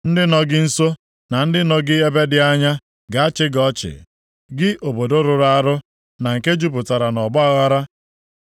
Ndị nọ gị nso na ndị nọ gị ebe dị anya ga-achị gị ọchị, gị obodo rụrụ arụ, na nke jupụtara nʼọgbaaghara.